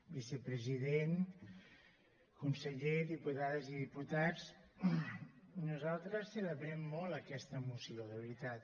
vicepresident conseller diputades i diputats nosal tres celebrem molt aquesta moció de veritat